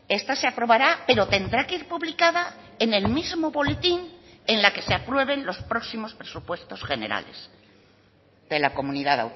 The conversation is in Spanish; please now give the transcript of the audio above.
esta se aprobará pero tendrá que ir publicada en el mismo boletín en la que se aprueben los próximos presupuestos generales de la comunidad